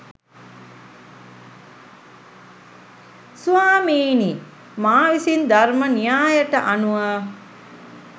ස්වාමීනී මා විසින් ධර්ම න්‍යායට අනුව